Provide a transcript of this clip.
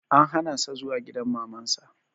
An hana sa zuwa gidan Maman sa